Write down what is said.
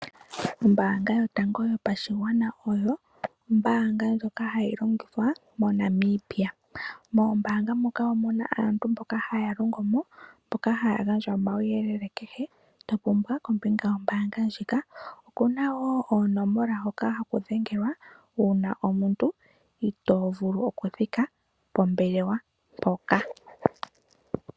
Ombaanga yotango yopashigwana oyo ombaanga ndjoka hayi longithwa moNamibia. Moombaanga moka omu na aantu mboka haya longo mo, mboka haya gandja omauyelele kehe to pumbwa kombinga yombaanga ndjika. Oku na wo oonomola hoka haku dhengelwa uuna omuntu itoo vulu okuthika pombelewa mpoka.